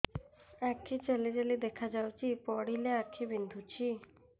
ଆଖି ଜାଲି ଜାଲି ଦେଖାଯାଉଛି ପଢିଲେ ଆଖି ବିନ୍ଧୁଛି